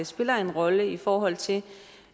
spiller en rolle i forhold til